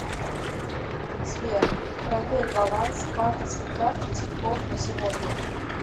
сбер проверь баланс банковской карты тинькофф на сегодня